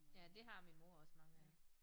Ja det har min mor også mange af